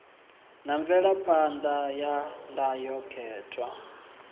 na mvelaphan ḓa ya ndayotewa